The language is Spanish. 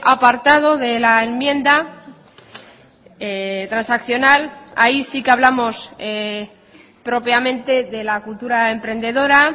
apartado de la enmienda transaccional ahí sí que hablamos propiamente de la cultura emprendora